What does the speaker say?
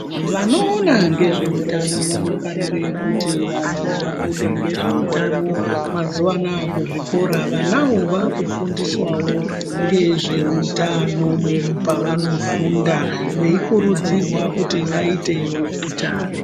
Vanoona ngezveutano vanofarire kuti vanhu vafunde ngezve utano mazuano aya kuzvikora vanawo vaakufundiswawo ngezveutano pavanofunda veikurudzirwa kuti vaitewo utano.